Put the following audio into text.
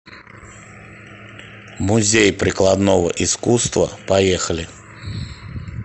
музей прикладного искусства поехали